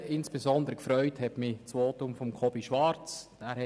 Insbesondere hat mich das Votum von Jakob Schwarz gefreut.